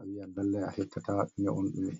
awi'an lallay a heptataa ɗume on ɗume.